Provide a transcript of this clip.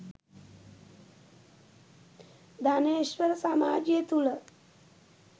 ධනේශ්වර සමාජය තුළ